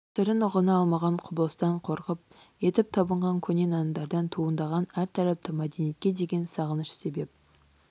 сырын ұғына алмаған құбылыстан қорқып етіп табынған көне нанымдардан туындаған әртарапты мәдениетке деген сағыныш себеп